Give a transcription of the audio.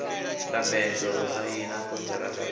ndambedzo u saina konṱiraka ya